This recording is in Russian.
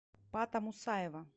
пата мусаева